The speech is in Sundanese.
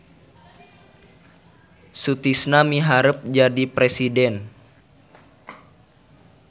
Sutisna miharep jadi presiden